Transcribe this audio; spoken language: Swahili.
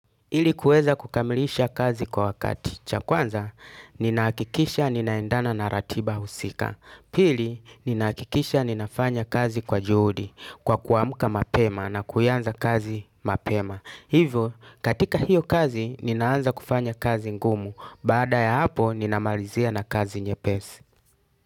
Ili kuweza kukamilisha kazi kwa wakati. Cha kwanza, ninahakikisha ninaendana na ratiba husika. Pili, ninahakikisha ninafanya kazi kwa juhudi, kwa kuamka mapema na kuanza kazi mapema. Hivo, katika hiyo kazi, ninaanza kufanya kazi ngumu. Baada ya hapo, ninamalizia na kazi nyepesi.